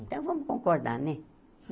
Então, vamos concordar, né?